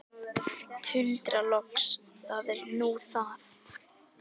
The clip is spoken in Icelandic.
Tuldra loks: Það er nú það.